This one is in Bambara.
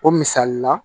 O misali la